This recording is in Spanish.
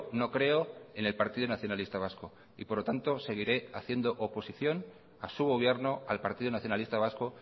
no creo en el partido nacionalista vasco y por lo tanto seguiré haciendo oposición a su gobierno al partido nacionalista vasco